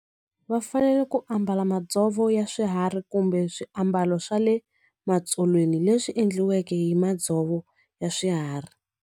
Va fanele ku ambala madzovo ya swiharhi kumbe swiambalo swa le matsolweni leswi endliweke hi madzovo ya swiharhi.